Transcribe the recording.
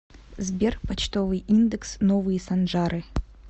сбер почтовый индекс новые санжары